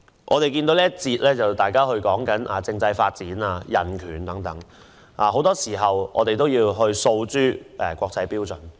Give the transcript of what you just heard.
在這個環節，大家談及政制發展、人權等，我們很多時候也要遵循國際標準。